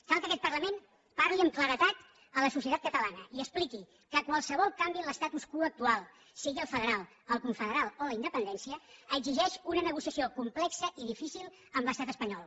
cal que aquest parlament parli amb claredat a la societat catalana i expliqui que qualsevol canvi en l’statu quo actual sigui el federal el confederal o la independència exigeix una negociació complexa i difícil amb l’estat espanyol